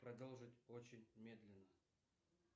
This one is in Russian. продолжить очень медленно